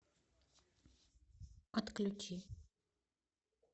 отключи